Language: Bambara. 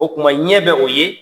O kuma ɲɛ bɛ o ye.